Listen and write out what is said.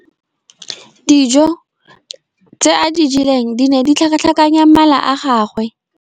Dijô tse a di jeleng di ne di tlhakatlhakanya mala a gagwe.